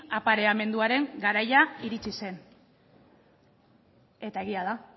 apareamenduaren garaia iritsi zen eta egia da